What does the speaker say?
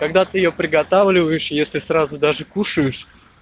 когда ты её приготавливаешь если сразу даже кушаешь